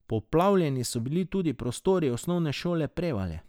Poplavljeni so bili tudi prostori osnovne šole Prevalje.